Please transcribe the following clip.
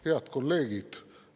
Head kolleegid!